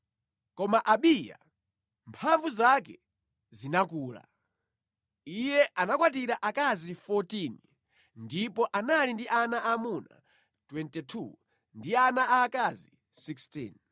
Koma Abiya mphamvu zake zinakula. Iye anakwatira akazi 14 ndipo anali ndi ana aamuna 22 ndi ana aakazi 16.